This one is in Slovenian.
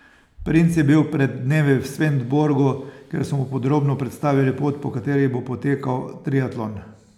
Princ je bil pred dnevi v Svendborgu, kjer so mu podrobno predstavili pot, po kateri bo potekal triatlon.